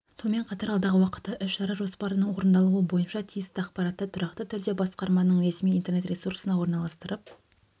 сонымен қатар алдағы уақытта іс-шара жоспарының орындалуы бойынша тиісті ақпаратты тұрақты түрде басқарманың ресми интернет-ресурсына орналастырып